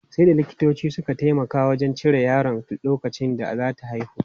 Sai da likitoci suka taimaka wajen cire yaron lokacin da za ta haihu.